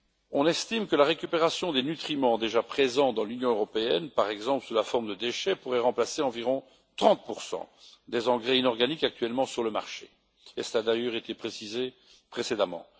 On estime que la récupération des nutriments déjà présents dans l'Union européenne, par exemple sous la forme de déchets, pourrait remplacer environ 30 des engrais inorganiques actuellement sur le marché cela a d'ailleurs été précisé précédemment.